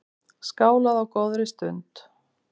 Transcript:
Skálað á góðri stund.